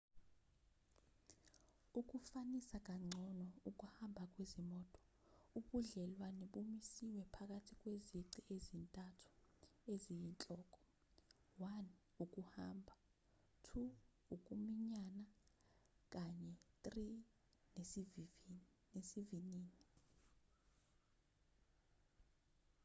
ukufanisa kangcono ukuhamba kwezimoto ubudlelwane bumisiwe phakathi kwezici ezintathu eziyinhloko: 1 ukuhamba 2 ukuminyana kanye 3 nesivinini